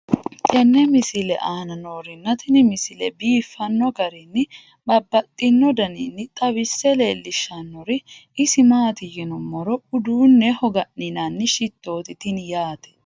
tenne misile aana noorina tini misile biiffanno garinni babaxxinno daniinni xawisse leelishanori isi maati yinummoro uduunneho ga'ninnanni shittoti tinni yaatte